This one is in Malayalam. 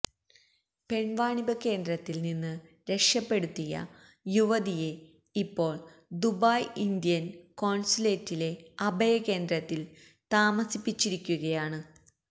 പെണ്വാണിഭ കേന്ദ്രത്തില് നിന്ന് രക്ഷപ്പെടുത്തിയ യുവതിയെ ഇപ്പോള് ദുബായ് ഇന്ത്യന് കോണ്സുലേറ്റിലെ അഭയ കേന്ദ്രത്തില് താമസിപ്പിച്ചിരിക്കുകയാണ്